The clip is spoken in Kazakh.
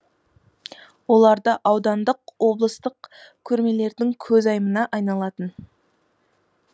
оларда аудандық облыстық көрмелердің көзайымына айналатын